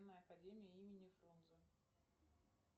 академия имени фрунзе